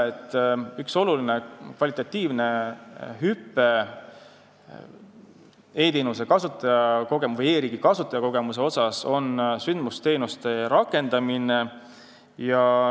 Üks oluline kvalitatiivne hüpe e-teenustes ja e-riigi kasutajakogemuses on sündmusteenuste rakendamine.